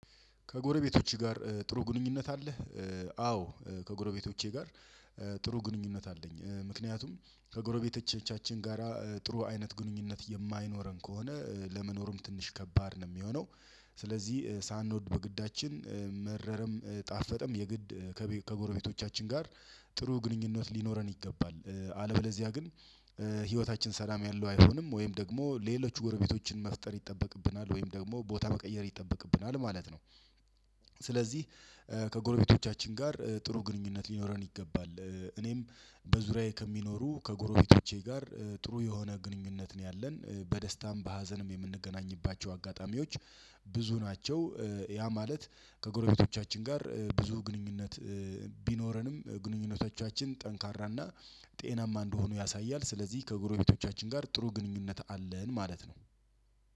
ከጎረቤቶችህ ጋር ጥሩ ግንኙነት አለ? አዎ ከጎረቤቶቼ ጋር ጥሩ ግንኙነት አለኝ ምክንያቱም ከጎረቤቶቻችን ጋራ ጥሩ አይነት ግንኙነት የማይኖረን ከሆነ ለመኖሩም ትንሽ ከባድ ነው የሚሆነው። ስለዚህ ሳንወድ በግዳችን መረረም ጣፈጠም የግድ ከጎረቤቶቻችን ጋር ጥሩ ግንኙነት ሊኖረን ይገባል አለበለዚያ ግን ህይወታችን ሰላም ያለው አይሆንም ወይም ደግሞ ሌሎች ጎረቤቶችን መፍጠር ይጠበቅብናል ወይም ደግሞ ቦታ መቀየር ይጠበቅብናል ማለት ነው። ስለዚህ ከጎረቤቶቻችን ጋር ጥሩ ግንኙነት ሊኖረን ይገባል እኔም በዙሪያዬ ከሚኖሩ ከጎሮቤቶቼ ጋር ጥሩ የሆነ ግንኙነት ነው ያለን በደስታም በሀዘንም የምንገናኝባቸው አጋጣሚዎች ብዙ ናቸው። ያ ማለት ከጎረቤቶቻችን ጋር ብዙ ግንኙነት ቢኖረንም ግንኙነቶቻችን ጠንካራና ጤናማ እንደሆኑ ያሳያል። ስለዚህ ከጎረቤቶቻችን ጋር ጥሩ ግንኙነት አለን ማለት ነው።